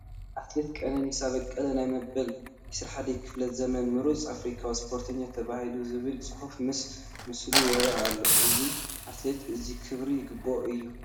ኣትሌት ቀነኒሳ በቀለ ናይ መበል 21 ክፍለ ዘመን ምሩፅ ኣፍሪካዊ ስፖርተኛ ተባሂሉ ዝብል ፅሑፍ ምስ ምስሉ ይርአ ኣሎ፡፡ እዚ ኣትሌት እዚ ክብሪ ይግብኦ እዩ፡፡